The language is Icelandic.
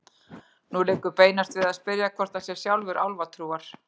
Nú liggur beinast við að spyrja hvort hann sé sjálfur álfatrúar.